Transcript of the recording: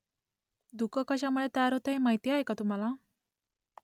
धुकं कशामुळे तयार होतं ते माहीत आहे का तुम्हाला ?